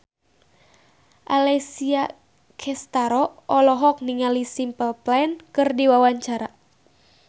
Alessia Cestaro olohok ningali Simple Plan keur diwawancara